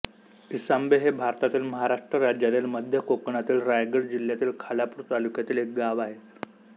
इसांबे हे भारतातील महाराष्ट्र राज्यातील मध्य कोकणातील रायगड जिल्ह्यातील खालापूर तालुक्यातील एक गाव आहे